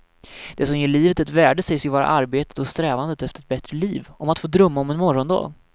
Det som ger livet ett värde sägs ju vara arbetet och strävandet efter ett bättre liv, om att få drömma om en morgondag.